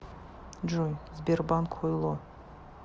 джой сбербанк хуйло